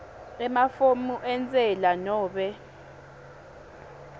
emafomu entsela nobe